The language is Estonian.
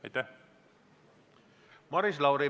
Maris Lauri, palun!